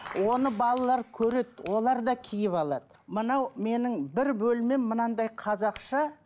оны балалар көреді олар да киіп алады мынау менің бір бөлмем мынандай қазақша